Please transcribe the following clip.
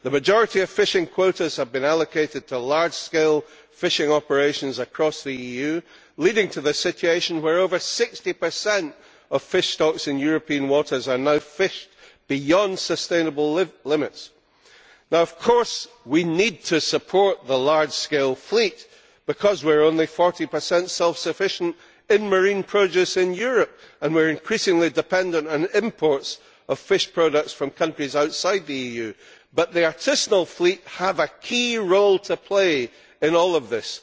The majority of fishing quotas have been allocated to large scale fishing operations across the EU, leading to the situation where over 60 of fish stocks in European waters are now fished beyond sustainable limits. Now of course we need to support the large scale fleet because we are only 40 self sufficient in marine produce in Europe and we are increasingly dependent on imports of fish products from countries outside the EU, but the artisanal fleet have a key role to play in all of this.